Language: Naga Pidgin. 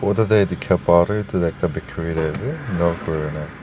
photo teh dikha pa tu etu ekta bakery nisna ase enka koina--